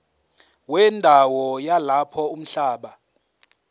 wendawo yalapho umhlaba